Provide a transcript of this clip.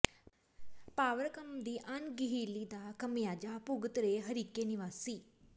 ਪਾਵਰਕਾਮ ਦੀ ਅਣਗਹਿਲੀ ਦਾ ਖਮਿਆਜਾ ਭੁਗਤ ਰਹੇ ਹਰੀਕੇ ਨਿਵਾਸੀ